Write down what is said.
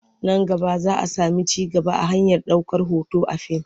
Nan gaba za a sami ci gaba a harkar ɗaukar hoto a fim.